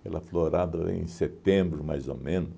aquela florada em setembro, mais ou menos,